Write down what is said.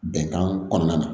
Bɛnkan kɔnɔna na